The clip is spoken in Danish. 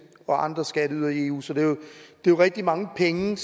og andre skatteydere i eu så det er jo rigtig mange penge